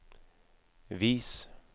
vis